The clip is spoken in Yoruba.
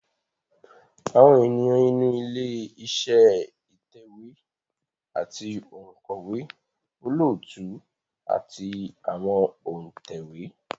Àwọn ènìyàn inú ilé iṣẹ́ ìtẹ̀wé ni òǹkọ̀wé, olóòtú àti àwọn òǹtẹ̀wé